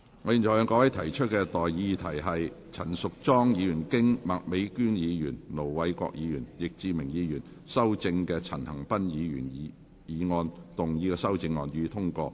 我現在向各位提出的待議議題是：陳淑莊議員就經麥美娟議員、盧偉國議員及易志明議員修正的陳恒鑌議員議案動議的修正案，予以通過。